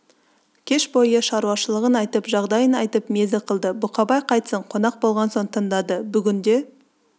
кеш бойы шаруашылығын айтып жағдайын айтып мезі қылды бұқабай қайтсін қонақ болған соң тыңдады бүгінде